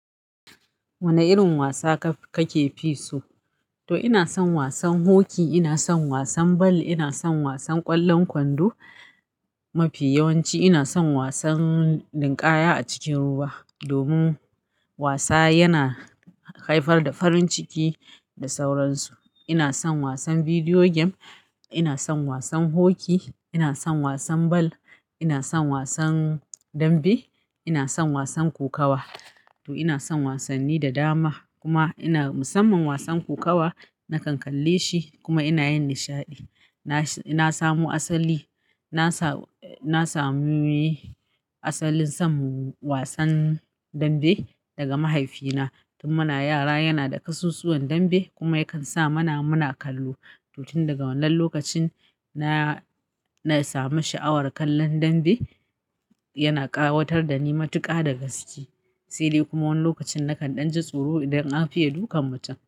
Wane irin wasa ka ke fi so? To ina son wasan hoki, ina son wasan bal, ina son wasan ƙwallon kwando. Mafiya yawanci ina son wasan ninƙaya a cikin ruwa domin wasa yana haifar da farin ciki da sauransu. Ina son wasan bidiyo game, ina son wasan hoki, ina son wasan bal, ina son wasan dambe, ina son wasan kokawa. To ina son wasanni da dama kuma ina musamman wasan kokawa. Na kan kalle shi kuma ina yin nishaɗi. Na samo asali, na samu asalin son wasan dambe daga mahaifina. Tun muna yara yana da kasusuwan dambe kuma yakan sa mana muna kallo. To tin daga wannan lokacin na samu sha'awar kallon dambe. Yana ƙawatar da ni matuƙa daga gaske, sai dai kuma wannan lokacin na kan ɗan ji tsoro idan an fiye dukan mutum.